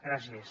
gràcies